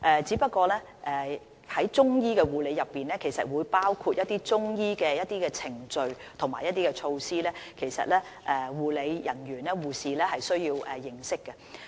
只是在中醫護理中，是會包括一些中醫程序和措施，護理人員包括護士是需要認識的。